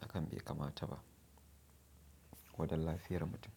hakan be kamata ba, ko da lafiyar mutum.